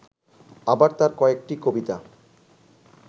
আবার তাঁর কয়েকটি কবিতা